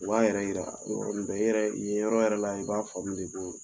U b'a yɛrɛ yira, o yɔrɔ ni bɛ yen yɔrɔ yɛrɛ la i b'a faamu de do